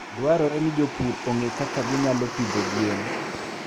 Dwarore ni jopur ong'e kaka ginyalo pidho gwen.